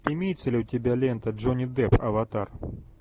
имеется ли у тебя лента джонни депп аватар